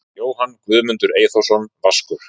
Jóhann Guðmundur Eyþórsson Vaskur